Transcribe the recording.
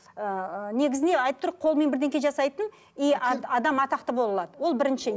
ыыы негізіне айтып тұр қолымен бірдеңе жасайтын и адам атақты бола алады ол бірінші